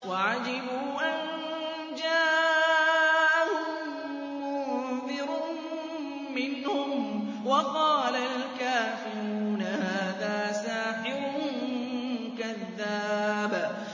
وَعَجِبُوا أَن جَاءَهُم مُّنذِرٌ مِّنْهُمْ ۖ وَقَالَ الْكَافِرُونَ هَٰذَا سَاحِرٌ كَذَّابٌ